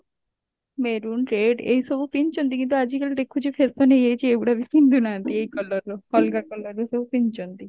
maroon red ଏଇ ସବୁ ପିନ୍ଧୁଛନ୍ତି କିନ୍ତୁ ଆଜିକାଲି ଦେଖୁଛୁ fashion ହେଇଯାଇଛି ଏଇଗୁଡା ବି ପିନ୍ଧୁନାହାନ୍ତି ଏଇ colour ର ଅଲଗା colour ର ସବୁ ପିନ୍ଧୁଛନ୍ତି